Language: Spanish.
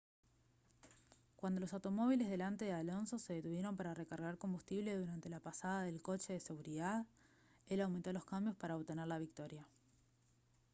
cuando los automóviles delante de alonso se detuvieron para recargar combustible durante la pasada del coche de seguridad él aumentó los cambios para obtener la victoria